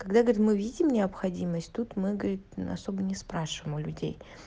когда говорит мы видим необходимость тут мы говорит особо не спрашиваем у людей